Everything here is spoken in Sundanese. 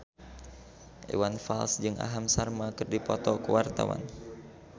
Iwan Fals jeung Aham Sharma keur dipoto ku wartawan